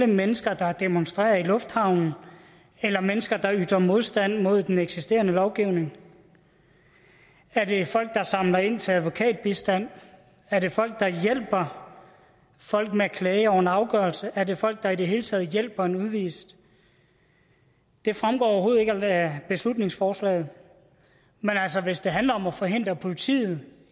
mennesker der demonstrerer i lufthavne eller mennesker der ytrer modstand mod den eksisterende lovgivning er det folk der samler ind til advokatbistand er det folk der hjælper folk med at klage over en afgørelse er det folk der i det hele taget hjælper en udvist det fremgår overhovedet ikke af beslutningsforslaget men altså hvis det handler om at forhindre politiet